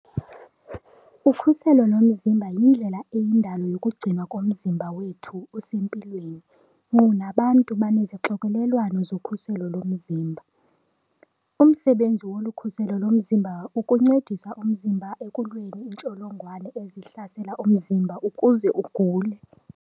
Ukhuselo lomzimba yindlela eyindalo yokugcinwa komzimba wethu usempilweni - nkqu nabantu banezixokelelwano zokhuselo lomzimba. Ngumsebenzi wolu khuselo lomzimba ukuncedisa umzimba ekulweni iintsholongwane ezihlasela umzimba ukuze ugule.